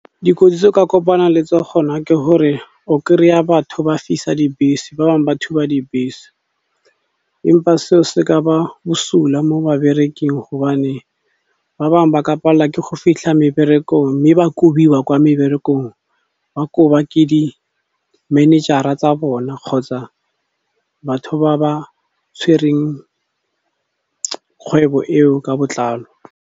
Dikotsi tse o ka kopanang le tsona ke gore o kry-a batho ba fisa dibese, ba bangwe ba thuba dibese empa seo se ka ba bosula mo babereking gobane ba bangwe ba ka palla ke go fitlha meberekong mme ba kobiwa kwa meberekong, ba koba ke di-manager-a tsa bona kgotsa batho ba ba tshwereng kgwebo eo ka botlalo.